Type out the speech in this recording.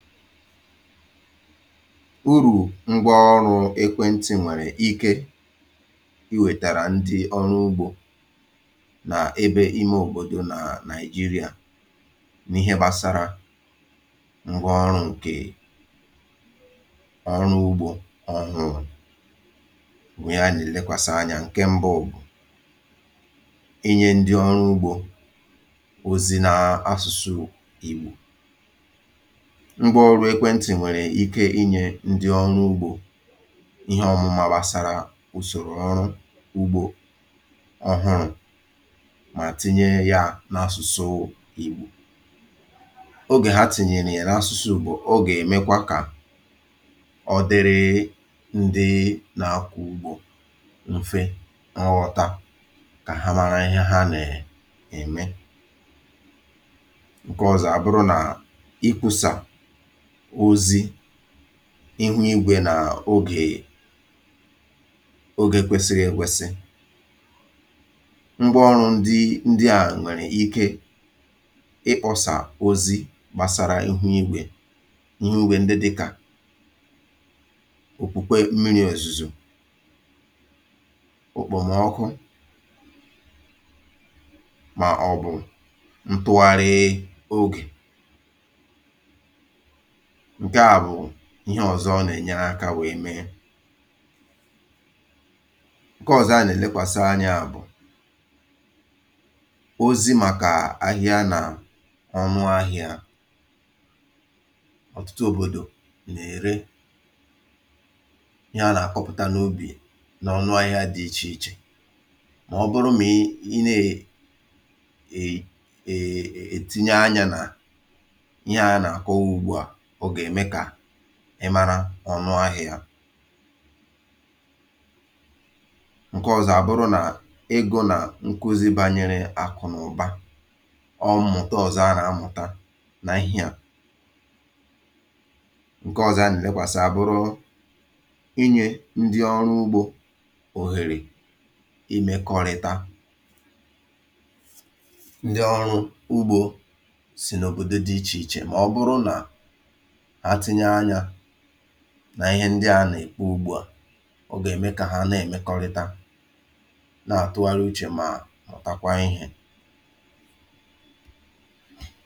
Uru̇ ngwa ọrụ̇ ekwentị̀ nwèrè ike ị wètàrà ndị ọrụ ugbȯ n’ebe ime òbòdò nà nàị̀jịrị̀à n’ihe gbasara ngwa ọrụ̇ ǹkè ọrụ ugbȯ ọhụrụ̇ bụ̀ ihe anà èlekwàsa anyȧ ǹke mbụ bu, inye ndị ọrụ ugbȯ ozi n’asụ̇sụ̇ ìgbo. Ngwa ọrụ ekwentị nwere ike ǹkẹ̀ ịnyẹ̇ ndị ọru ugbȯ ihe ọmụ̇mà gbasàrà usòrò ọrụ ugbȯ ọhụrụ̇ mà tinye ya n’asụ̀sụ ìgbò. Ogè ha tìnyèrè ya na asụ̇sụ Igbo ọ oga ẹ̀mẹkwa kà ọ dịrị um ndị um nà akwo ugbȯ mfe nghọta kà ha mara ihe ha na [um]ẹ̀mẹ. Nkẹ ọzọ à bụrụ nà ịkwusa ozi ihu igwè n’[um]ogè ogè kwesiri ekwesi. Ngwa ọrụ ndị ndị à nwèrè ike ịkpọ̀sà ozi gbàsara ihu igwè, ihu igwe ndị dị kà òkpukpe mmiri òzùzò, òkpòmọkụ mà ọ̀bụ̀ ntụgharị[um] ogè ǹkẹ̀ a bụ̀ ihe ọ̀zọ ọ nà-enye akȧ wee mee. Nkẹ̀ ọ̀zọ a nà-ènekwàsị anya bụ̀ ozi màkà ahịa nà ọnụ ahịȧ. Otụtụ òbòdò nà-ère ihe a nà-àkọpụ̀ta n’ubì nà ọnụ ahịa dị ichè ichè mà ọ bụrụ m̀ ị nà-[um] ètinye anyȧ nà ihe a nà-àkọwa ugbu à, ọ ga eme ka ị mara ọnụ ahịa. Nke ọzọ àbụrụ nà ịgụ̇ nà nkuzi bànyere àkụ̀ n’ụ̀ba ọọ mụ̀ta ọ̀zọ a nà-amụ̀ta n’ihe à. Nke ọzọ aburu nà-ènekwàsị̀ àbụrụ inyė ndi ọrụ ugbȯ òhèrè imėkọrịta. Ndi ọrụ ugbȯ sì n’òbòdo dị̇ ichè ichè mà ọ bụrụ nà hà tinye anya n'ihe ndị à nà-èkwu ugbua, ọ gà-ème kà ha na-èmekọrịta nà-àtụgharị uchè mà mụ̀takwa ihe!